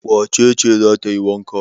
Wace ce za ta yi wanka?